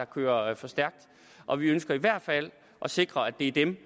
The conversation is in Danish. kører for stærkt og vi ønsker i hvert fald at sikre at det er dem